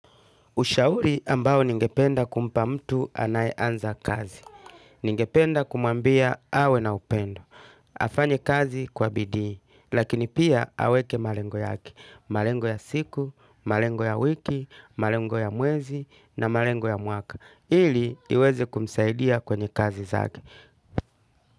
Ushauri ambao ninge penda kumpa mtu anayeanza kazi. Ningependa kumwambia awe na upendo. Afanye kazi kwa bidii. Lakini pia aweke malengo yake. Malengo ya siku, malengo ya wiki, malengo ya mwezi na malengo ya mwaka. Ili iwezi kumsaidia kwenye kazi zake.